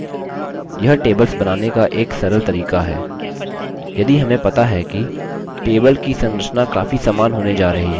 यह tables बनाने का एक सरल तरीका है यदि हमें पता है कि table की संरचना काफी समान होने जा रही है